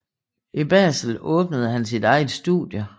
I Basel åbnede han sit eget studie